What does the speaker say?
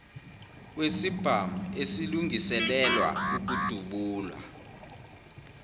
wesibhamu esilungiselelwa ukudubula